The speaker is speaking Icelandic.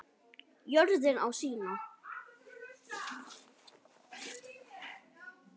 Jörðin á sína.